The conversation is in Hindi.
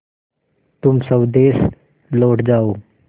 तुम स्वदेश लौट जाओ